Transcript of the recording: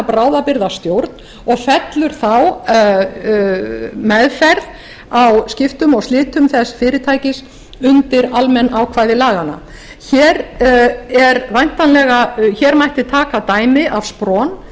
bráðabirgðastjórn og fellur þá meðferð á skiptum og slitum þess fyrirtækis undir almenn ákvæði laganna hér mætti taka dæmi af spron